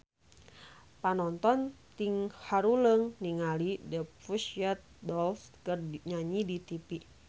Panonton ting haruleng ningali The Pussycat Dolls keur nyanyi di tipi